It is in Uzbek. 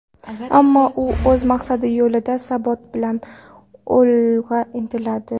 Ammo u o‘z maqsadi yo‘lida sabot bilan olg‘a intiladi.